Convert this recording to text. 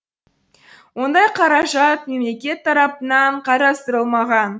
ондай қаражат мемлекет тарапынан қарастырылмаған